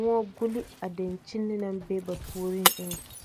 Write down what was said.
moɔ buli a dankyini naŋ be a puoriŋ eŋɛ.